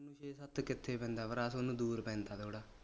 ਪੰਜ ਛੇ ਸੱਤ ਕਿਥੇ ਪੈਂਦਾ ਭਰਾ ਤੁਹਾਨੂੰ ਦੂਰ ਪੈਂਦਾ ਥੋੜਾ